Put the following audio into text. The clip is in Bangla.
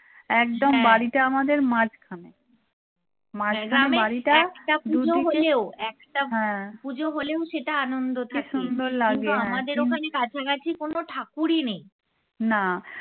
একদম বাড়িটা আমাদের মাঝখানে